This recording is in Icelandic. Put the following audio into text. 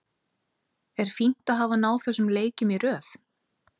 Er fínt að hafa náð þessum leikjum í röð?